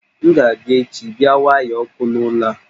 M ga abịa echi bia waya ọkụ n'ụlọ a